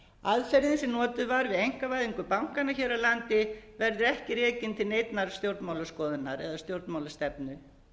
aðferðin sem notuð var við einkavæðingu bankanna hér á landi verður ekki rekin til neinnar stjórnmálaskoðunar eða stjórnmálastefnu